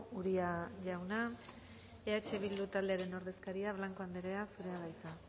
uria jauna eh bildu taldearen ordezkaria blanco anderea zurea da hitza